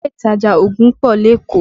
Ilé ìtajà ògùn pọ̀ lékòó